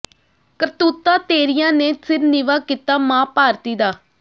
ਕਰਤੂਤਾਂ ਤੇਰੀਆਂ ਨੇ ਸਿਰ ਨੀਵਾਂ ਕੀਤਾ ਮਾਂ ਭਾਰਤੀ ਦਾ